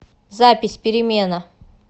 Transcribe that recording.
запись перемена